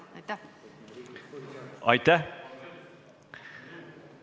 Aitäh!